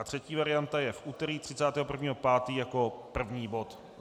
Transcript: A třetí varianta je v úterý 31. 5. jako první bod.